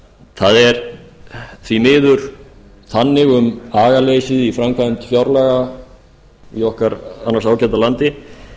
það er því miður þannig um agaleysið í framkvæmd fjárlaga í okkar annars ágæta landi